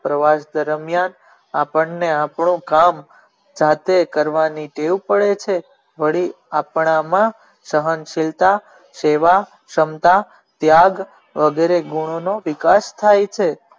પ્રવાસ દરમિયાન આપણે આપનો થાક સરખો કરવાની ટેવ પડે છે વળી આપણા માં સહન સીલતા સેવા ક્ષમતા ત્યાગ વગેરે ગુનો નો વિકાસ થાય છે.